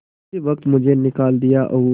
उसी वक्त मुझे निकाल दिया और